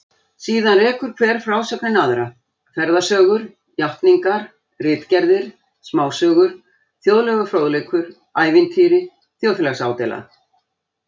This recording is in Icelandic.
Síðan rekur hver frásögnin aðra, ferðasögur, játningar, ritgerðir, smásögur, þjóðlegur fróðleikur, ævintýri, þjóðfélagsádeila